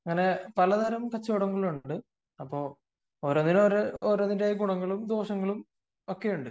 അങ്ങനെ പലതരം കച്ചവടങ്ങളുണ്ട് ഓരോന്നിനും അതിന്റെതായ ഗുണങ്ങളും ദോഷങ്ങളും ഒക്കെയുണ്ട്